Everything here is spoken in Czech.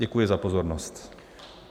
Děkuji za pozornost.